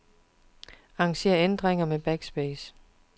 Arranger ændringer med backspace.